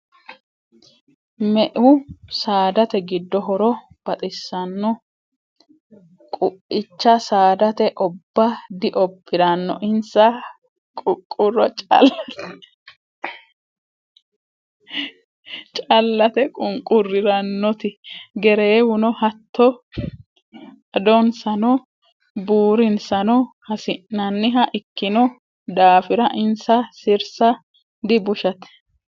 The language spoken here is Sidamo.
Me"eu saadate giddo horo baxisano quicha saadati obba diobbirano insa ququro callate ququriranoti gereewuno hatto adonsano buurinsano hasi'naniha ikkino daafira insa sirsa dibushate.